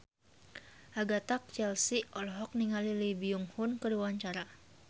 Agatha Chelsea olohok ningali Lee Byung Hun keur diwawancara